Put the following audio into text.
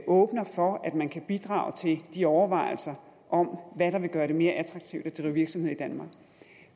åbner for at man kan bidrage til de overvejelser om hvad der vil gøre det mere attraktivt at drive virksomhed i danmark